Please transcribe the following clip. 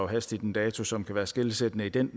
hastigt en dato som kan være skelsættende i den